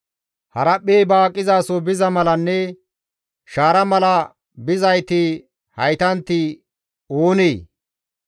«Haraphphey ba aqizaso biza malanne shaara mala bizayti haytanti oonee?